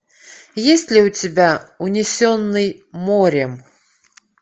есть ли у тебя унесенный морем